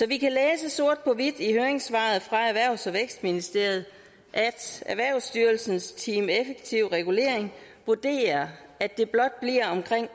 vi kan læse sort på hvidt i høringssvaret fra erhvervs og vækstministeriet at erhvervsstyrelsens team effektiv regulering vurderer at det blot bliver omkring